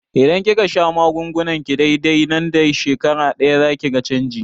Idan kika sha magungunanki dai-dai, nan da shekara ɗaya zakiga canji